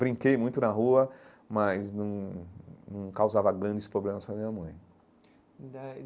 Brinquei muito na rua, mas não não causava grandes problemas para a minha mãe.